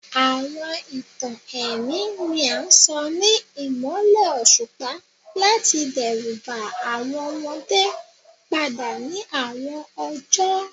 Awọn itan ẹmi ni a sọ ni imọlẹ oṣupa lati dẹruba awọn ọmọde pada ni awọn ọjọ